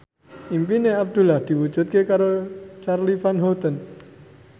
impine Abdullah diwujudke karo Charly Van Houten